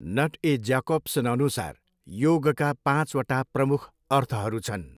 Not ए ज्याकोब्सनअनुसार, योगका पाँचवटा प्रमुख अर्थहरू छन्।